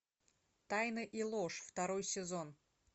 тайны и ложь второй сезон